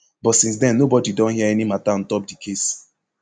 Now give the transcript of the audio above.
but since den nobody don hear any mata ontop di case